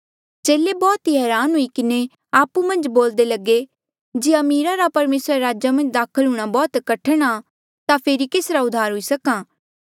चेले बौह्त ई हरान हुई किन्हें आपु मन्झ बोल्दे लगे जे अमीरा रा परमेसरा रे राजा मन्झ दाखल हूंणां बौह्त कठण आ ता फेरी केसरा उद्धार हुई सक्हा